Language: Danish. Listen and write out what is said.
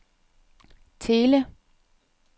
Thele